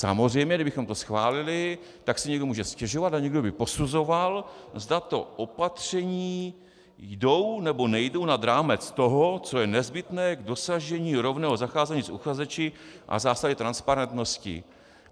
Samozřejmě kdybychom to schválili, tak si někdo může stěžovat a někdo by posuzoval, zda ta opatření jdou, nebo nejdou nad rámec toho, co je nezbytné k dosažení rovného zacházení s uchazeči a zásady transparentnosti.